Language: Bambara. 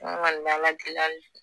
an kɔni bɛ Ala deli hali bi